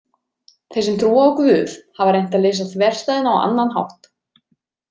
Þeir sem trúa á Guð hafa reynt að leysa þverstæðuna á annan hátt.